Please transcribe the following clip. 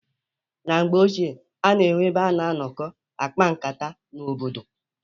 Na mgbe ochie a na-enwe ebe a na-anọkọ akpa nkata n' obodo.